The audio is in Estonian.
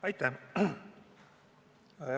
Aitäh!